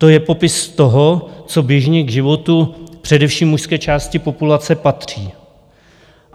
To je popis toho, co běžně k životu především mužské části populace patří.